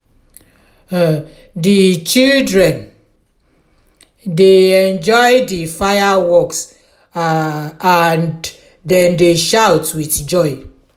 um di children um dey enjoy di fireworks um and dem dey shout with joy.